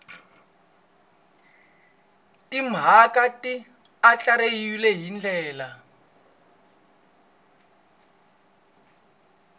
timhaka ti andlariwile hi ndlela